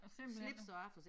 Slips og aftershave